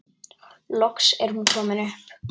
Loks er hún komin upp.